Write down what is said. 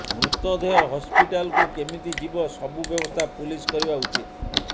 ମୃତଦେହ ହସ୍ପିଟାଲକୁ କେମିତି ଯିବ ସବୁ ବ୍ୟବସ୍ଥା ପୁଲିସ କରିବା ଉଚିତ୍